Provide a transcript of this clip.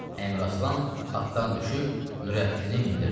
Əmiraslan atdan düşüb Nurəddini mindirdi.